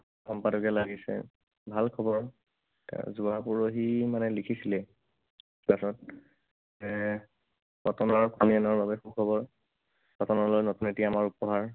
সম্পাদকে লাগিছে। ভাল খবৰ। তাৰপিছত যোৱা পৰহি মানে লিখিছিলে যে কটনৰ কটনিয়ানৰ বাবে সুখবৰ। কটনলৈ নতুন এটি আমাৰ উপহাৰ।